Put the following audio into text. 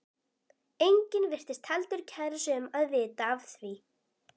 Enginn virtist heldur kæra sig um að vita af því.